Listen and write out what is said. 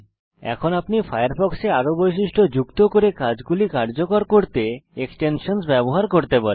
এখন আপনি ফায়ারফক্সে আরো বৈশিষ্ট্য যুক্ত করে কাজগুলি কার্যকর করতে এক্সটেনশান ব্যবহার করতে পারেন